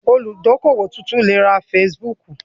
Olùdókówò tuntun lè ra Facebook